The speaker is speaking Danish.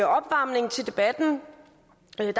opvarmning til debatten